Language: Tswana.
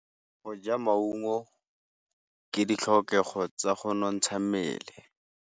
Go ja maungo ke ditlhokegô tsa go nontsha mmele.